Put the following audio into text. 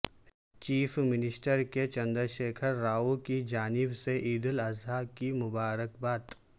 chief minister K Chandrashekar Rao کی جانب سے عیدالاضحی کی مبارکباد